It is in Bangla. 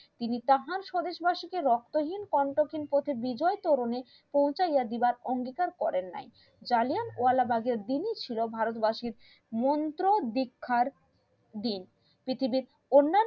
তিনি তাহার স্বদেশবাসী কে রক্তহীন কণ্ঠহীন করতে বিজয়ে করণে পৌঁছায় গিয়া অঙ্গীকার করেন নাই জাল্লিয়ানবালা বাঘ এর দিনই ছিল ভারতবাসীর মন্ত্র দীক্ষার দিন পৃথিবীর অন্নান্য